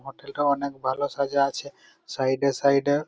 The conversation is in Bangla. হোটেল টা অনেক ভালো সাজা আছে। সাইড -এ সাইড -এ।